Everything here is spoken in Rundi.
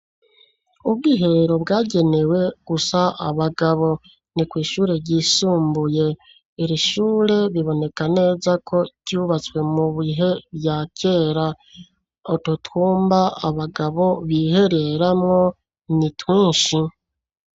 Ubwiherero bwagenewe gusa abagabo. Ni kw'ishure ryisumbuye, iri shure riboneka neza ko ryubatswe mubihe vya kera, utwo twumba abagabo bihereramwo ni twinshi.